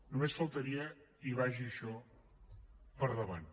només faltaria i vagi això per davant